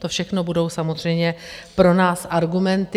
To všechno budou samozřejmě pro nás argumenty.